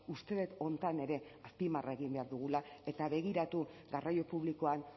uste dut honetan ere azpimarra egin behar dugula eta begiratu garraio publikoan